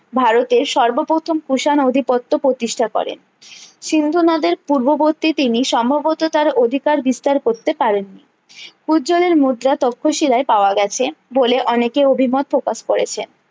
ভারতের সর্ব প্রথম কুষাণ আধিপত্ত প্রতিষ্ঠা করে সিন্দ নদের পূর্ববর্তী তিনি সম্ভবত তার অধিকার বিস্তার করতে পারেন নি পূয্যলের মুদ্রা তক্ষশিলায়ে পাওয়া গেছে বলে অনেকে অভিমত প্রকাশ করেছে